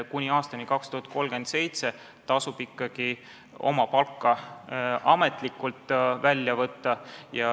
Kuni aastani 2037 tasub ikkagi oma palk ametlikult välja võtta.